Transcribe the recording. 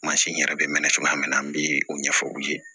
Mansin yɛrɛ bɛ mɛn cogoya min na an bɛ o ɲɛfɔ u ye